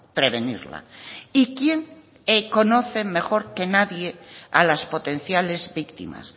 prevenirla y quién conoce mejor que nadie a las potenciales víctimas